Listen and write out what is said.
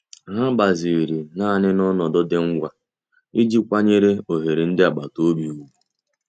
Ha gbaziri naanị n'ọnọdụ dị ngwa iji kwanyere ohere ndị agbata obi ùgwù.